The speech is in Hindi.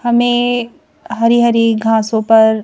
हमें हरी हरी घासों पर--